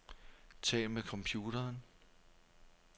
Tal med computeren.